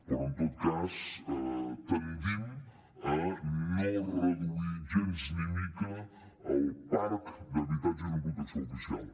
però en tot cas tendim a no reduir gens ni mica el parc d’habitatges en protecció oficial